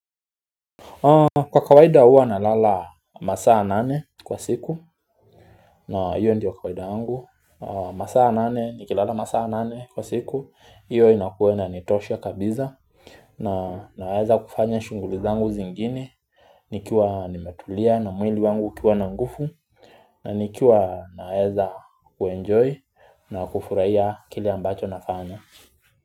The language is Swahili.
Kwa kawaida hua nalala masaa nane kwa siku, na hiyo ndiyo kawaida yangu masaa nane, nikilala masaa nane kwa siku, hiyo inakua inanitosha kabisa na naeza kufanya shunguli zangu zingine, nikiwa nimetulia na mwili wangu ukiwa na nguvu na nikiwa naeza uenjoy na kufurahia kile ambacho nafanya.